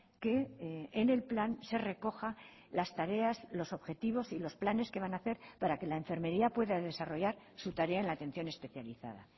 que en el plan se recoja las tareas los objetivos y losplanes que van a hacer para que la enfermería pueda desarrollar su tarea en la atención especializada